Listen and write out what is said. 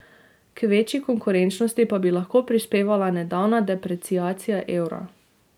K večji konkurenčnosti pa bi lahko prispevala nedavna depreciacija evra.